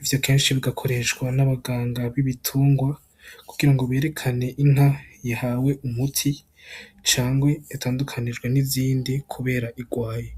ivyo kenshi bigakoreshwa n'abaganga bibitungwa kugirango berekane Inka yahawe umuti cangwe yatandukanijwe n'izindi kubera igwaye.